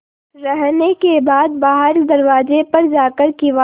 रहने के बाद बाहर दरवाजे पर जाकर किवाड़